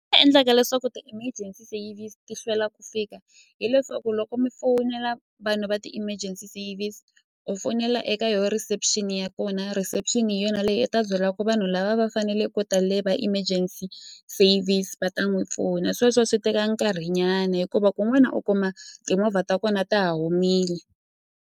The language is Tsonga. Endlaka leswaku ti-emergency service ti hlwela ku fika hileswaku loko mi fowunela vanhu va ti-emergency service u fonela eka yo reception ya kona reception hi yona leyi i ta byelaku vanhu lava va faneleke ku ta le va emergency service va ta n'wi pfuna sweswo swi teka nkarhinyana hikuva kun'wana u kuma timovha ta kona ta ha humile.